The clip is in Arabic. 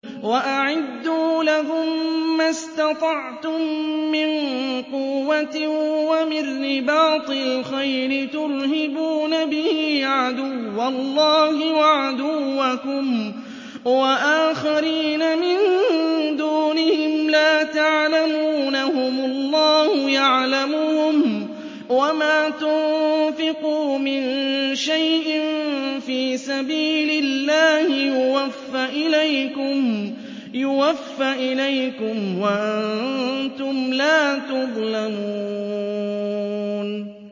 وَأَعِدُّوا لَهُم مَّا اسْتَطَعْتُم مِّن قُوَّةٍ وَمِن رِّبَاطِ الْخَيْلِ تُرْهِبُونَ بِهِ عَدُوَّ اللَّهِ وَعَدُوَّكُمْ وَآخَرِينَ مِن دُونِهِمْ لَا تَعْلَمُونَهُمُ اللَّهُ يَعْلَمُهُمْ ۚ وَمَا تُنفِقُوا مِن شَيْءٍ فِي سَبِيلِ اللَّهِ يُوَفَّ إِلَيْكُمْ وَأَنتُمْ لَا تُظْلَمُونَ